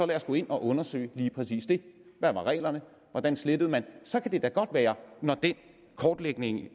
lad os gå ind og undersøge lige præcis det hvad var reglerne hvordan slettede man så kan det da godt være